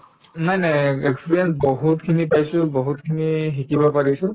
নাই নাই etc experience বহুতখিনি পাইছো বহুতখিনিয়ে শিকিব পাৰিছো